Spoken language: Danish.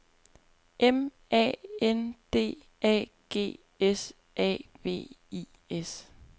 M A N D A G S A V I S